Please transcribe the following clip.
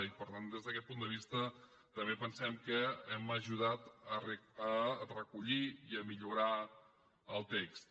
i per tant des d’aquest punt de vista també pensem que hem ajudat a recollir i a millorar el text